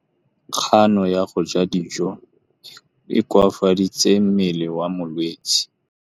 Kganô ya go ja dijo e koafaditse mmele wa molwetse.